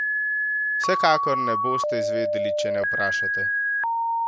Vsekakor ne boste izvedeli, če ne vprašate!